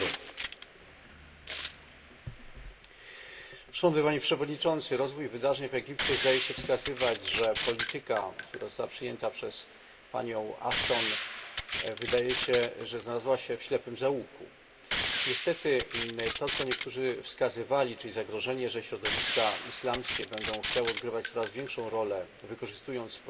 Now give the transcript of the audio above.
Panie Przewodniczący! Rozwój wydarzeń w Egipcie zdaje się wskazywać, że polityka, która została przyjęta przez panią Ashton, znalazła się w ślepym zaułku. Niestety to, na co niektórzy wskazywali, czyli zagrożenie, że środowiska islamskie będą chciały odgrywać coraz większą rolę wykorzystując procesy demokratyczne, jakie pojawiły się przed rokiem w Egipcie,